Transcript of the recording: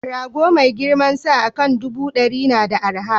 Rago mai girmansa akan ɗubu ɗari na da arha